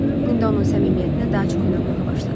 İndi onun səmimiyyətinə daha çox inanmağa başladı.